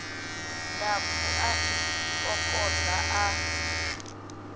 ndapfu a i kokodza a